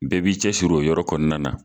Bɛɛ b'i cɛsiri o yɔrɔ kɔnɔna na